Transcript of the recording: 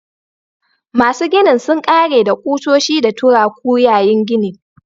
Masu ginin sun ƙare da kusoshi da turaku yayin ginin